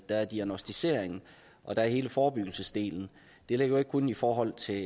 der er diagnosticeringen og der er hele forebyggelsesdelen det gælder ikke kun i forhold til